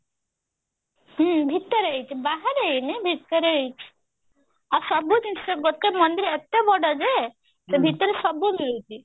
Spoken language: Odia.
ହୁଁ ଭିତରେ ହେଇଛି ବାହାରେ ହେଇନି ଭିତରେ ହେଇଛି ଆଉ ସବୁ ଜିନିଷ ଗୋଟେ ମନ୍ଦିର ଏତେ ବଡ ଯେ ସେ ବିତରେ ସବୁ ମିଳୁଛି